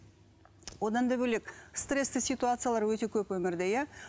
одан да бөлек стрессті ситуациялар өте көп өмірде иә